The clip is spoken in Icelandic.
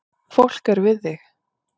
Fólk er við þig